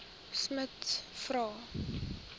smuts vra